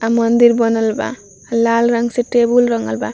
अ मंदिर बनल बा अ लाल रंग से टेबुल रंगल बा।